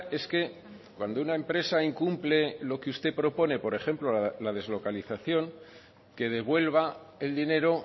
es que cuando una empresa incumple lo que usted propone por ejemplo la deslocalización que devuelva el dinero